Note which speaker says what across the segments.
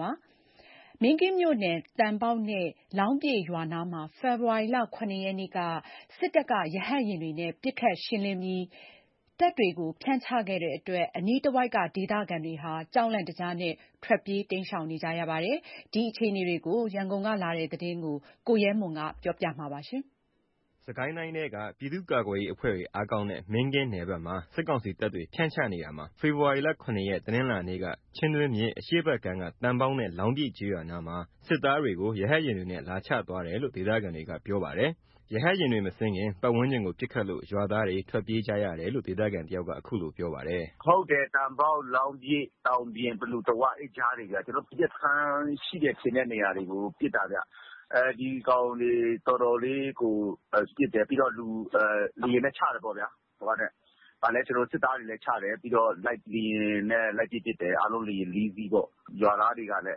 Speaker 1: ပါတယ်။ မင်းကင်းမြို့နယ် သံပေါက် နဲ့လောင်းပြည့်ရွာနားမှာ ဖေဖော်ဝါရီ ၇ ရက်က စစ်တပ်က ရဟတ်ယာဉ်တွေနဲ့ ပစ်ခတ် ရှင်းလင်းပြီး တပ်တွေကို ဖြန့်ချခဲ့ပါတယ်။ ဒါကြောင့် အနားက ဒေသခံတွေ စိုးရိမ်ပြီး ထွက်ပြေး တိမ်းရှောင်နေကြပါတယ်။ ရန်ကုန်ကလာတဲ့ မင်းကင်းနယ်ဘက်က အခြေအနေကို ကိုရဲမွန် ကပြောပြပါမယ်။
Speaker 2: စစ်ကိုင်းတိုင်းထဲက ပြည်သူ့ကာကွယ်ရေးအဖွဲ့တွေ အားကောင်းတဲ့ မင်းကင်းမြို့နယ်ဘက်မှာ စစ်ကောင်စီတပ်တွေ ဖြန့်ချနေတာမှာ ဖေဖော်ဝါရီ ၇ ရက် တနင်္လာနေ့က ချင်းတွင်းမြစ် အရှေ့ဘက်ကမ်းက သံပေါက်ရွာ နဲ့ လောင်းပြည့်ကျေးရွာနားမှာ စစ်သားတွေကို ရဟတ်ယာဉ်တွေနဲ့ လာချသွားတယ်လို့ ဒေသခံတွေက ပြောပါတယ်။ ရဟတ်ယာဉ်တွေ မဆင်းခင် ပါတ်ဝန်းကျင်ကို ပစ်ခတ်လို့ ရွာသားတွေ ထွက်ပြေးကြရတယ်လို့ ဒေသခံ တယောက်က ခုလိုပြောပါတယ်။
Speaker 3: “ဟုတ်ပါတယ် ။ သံပေါက်၊ လောင်းပြည်၊ သံပြင် နဲ့ ပလူတဝကျေးရွာတွေ အဲ့ကြားတွေကို ပစ်တာ။ PDF စခန်းတွေ ရှိတယ် ထင်တဲ့နေရာတွေကို ပစ်တာခင်ဗျ။ ဒီကောင်တွေ တော်တော်လေးကို ပစ်တယ်။ ပြီးတော့ လူတွေ လေယာဉ်နဲ့ ချတယ်ပေါ့ဗျာ။ စစ်သားတွေချတယ် လေယာဉ်တွေနဲ့ လိုက်ပစ်တယ်။ အားလုံး လေယာဉ် ၄ စီးပေါ့။ ရွာသားတွေကလည်း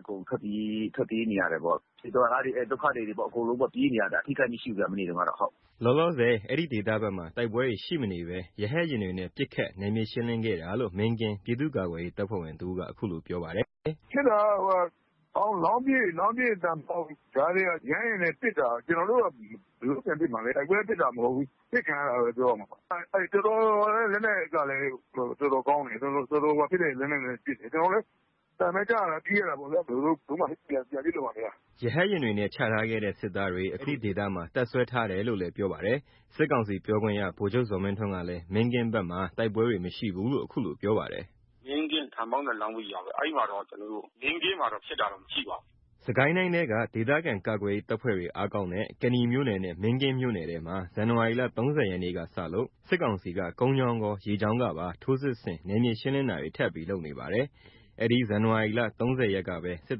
Speaker 3: အကုန်ထွက်ပြေးနေရတယ်ပေါ့။ ရွာသားတွေ ဒုက္ခသည်တွေ အကုန်ပြေးနေရတာ။ မနေ့တုန်းက အထိခိုက်တော့မရှိ
Speaker 2: ပါဘူး။” လောလောဆယ် အဲဒီဒေသဘက်မှာ တိုက်ပွဲတွေ ရှိမနေဘဲ ရဟတ်ယာဉ်တွေနဲ့ ပစ်ခတ် နယ်မြေရှင်းလင်းခဲတာလို့ မင်းကင်း ပြည့်သူ့ကာကွယ်ရေးတပ်ဖွဲ့ဝင်တဦးက အခုလိုပြောပါတယ်။ “
Speaker 4: ဖြစ်တာက လောင်းပြည့် နဲ့ သံပေါက်ကြားမှာ ရဟတ်ယာဉ်နဲ့ပစ်တာ။ ကျွန်တော်တို့က ဘယ်လိုလုပ် ပြန်ပစ်မှာလဲ။ တိုက်ပွဲဖြစ်တာမဟုတ်ဘူး။ ပစ်ခံရတာလို့ပဲပြောရမှာ။ လက်နက်ကလည်း တော်တော်ကောင်းတယ်။ ကျွန်တော်တို့လည်း အသံပဲကြားတာ ပြေးရတာပေါ့ ဘယ်လိုမှ ပြန်ပစ်လို့မရဘူး
Speaker 2: ။” ရဟတ်ယာဉ်တွေချထားခဲ့တဲ့ စစ်သားတွေ အခုအဲဒီဒေသမှာ တပ်စွဲထားတယ်လို့လည်း ပြောပါတယ်။ စစ်ကောင်စီ ပြောခွင့်ရ ဗိုလ်ချုပ်ဇော်မင်းထွန်းကတော့ မင်းကင်းမြို့နယ် ဘက်မှာ တိုက်ပွဲတွေ မရှိဘူးလို့ ခုလိုပြောပါတယ်။
Speaker 3: “မင်းကင်း သံပေါက်နဲ့လောင်းပြည့်ရွာဘက် မင်းကင်းမှာတော့ ဖြစ်တ
Speaker 2: ာတော့ မရှိပါဘူး။” စစ်ကိုင်းတိုင်းထဲက ဒေသခံကာကွယ်ရေး တပ်ဖွဲ့ဝင်တွေအားကောင်းတဲ့ ကနီမြို့နယ် နဲ့မင်းကင်းမြို့နယ်ထဲမှာ ဇန်နဝါရီ ၃၀ ရက်ကစလို့ စစ်ကောင်စီက ကုန်းကြောင်းကော ရေကြောင်းကပါ ထိုးစစ်ဆင် နယ်မြေရှင်းလင်းတာတွေ ထပ်ပြီး လုပ်နေပါတယ်။ အဲဒီဇန်နဝါရီ ၃၀ ရက်ကပဲ စစ်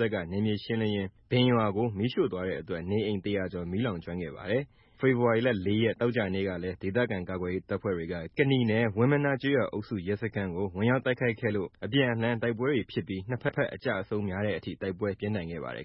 Speaker 2: တပ်က နယ်မြေရှင်းလင်းရင်း ဘင်ရွာကို မီးရှို့သွားတဲ့အတွက် နေအိမ် ၁၀၀ ကျော် မီးလောင်ကျွမ်းခဲ့ပါတယ်။ ဖေဖော်ဝါရီ ၄ ရက် သောကြာနေ့ ကလည်း ဒေသခံကာကွယ်ရေးတပ်ဖွဲ့တွေက ကနီမြို့နယ် ဝင်းမနား ကျေးရွာအုပ်စု ရဲစခန်းကို ဝင်ရောက်တိုက်ခိုက်ခဲ့လို့ အပြန်အလှန် တိုက်ပွဲတွေဖြစ်ပြီး ၂ ဖက် အကျအဆုံးများတဲ့အထိ တိုက်ပွဲပြင်းထန်ခဲ့ပါတယ်